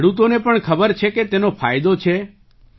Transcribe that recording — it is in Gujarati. તો ખેડૂતોને પણ ખબર છે કે તેનો ફાયદો છે